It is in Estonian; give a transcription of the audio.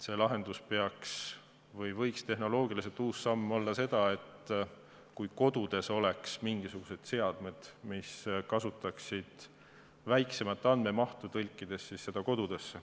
See lahendus võiks olla tehnoloogiliselt uus samm, kui kodudes oleks mingisugused seadmed, mis, kasutades väiksemat andmemahtu, tõlgiksid.